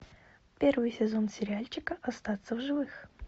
первый сезон сериальчика остаться в живых